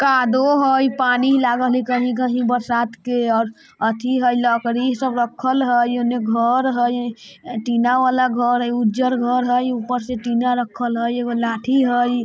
कादो हय पानी लागल हय कहीं-कहीं बरसात के और अथी हय लकड़ी सब रक्खल हय इने घर हय ए टीना वाला घर हय उज्जर घर हय ऊपर से टीना रक्खल हय एगो लाठी हय।